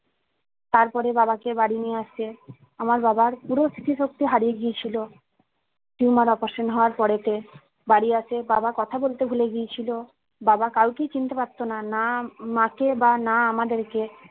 তারপরে বাবাকে বাড়ি নিয়ে আসে আমার বাবার পুরো স্মৃতিশক্তি হারিয়ে গিয়েছিলো tumor operation হওয়ার পড়েতে বাড়ি আসে বাবা কথা বলতে ভুলে গিয়েছিলো বাবা কাউকেই চিনতে পারতোনা না মা কে বা না আমাদেরকে